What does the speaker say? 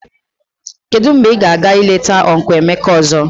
Kedu mgbe ị ga-aga eleta ọncụl Emeka ọzọ?